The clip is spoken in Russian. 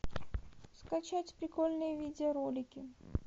скачать прикольные видеоролики